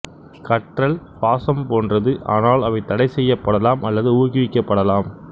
கற்றல் சுவாசம் போன்றது ஆனால் அவை தடைசெய்யப்படலாம் அல்லது ஊக்குவிக்கபடலாம்